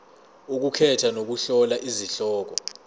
ukukhetha nokuhlola izihloko